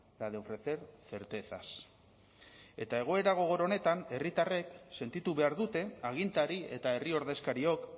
la de ofrecer certezas eta egoera gogor honetan herritarrek sentitu behar dute agintari eta herri ordezkariok